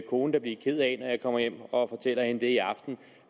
kone da blive ked af når jeg kommer hjem og fortæller hende det i aften